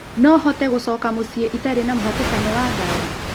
no hote gũcoka mũciĩitarĩna mũhatĩkano wa ngari